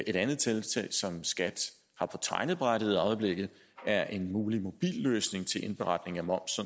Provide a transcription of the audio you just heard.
et andet tiltag som skat har på tegnebrættet i øjeblikket er en mulig mobilløsning til indberetning af moms